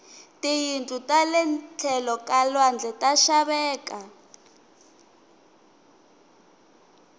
tiyindlu tale tlhelo ka lwandle ta xaveka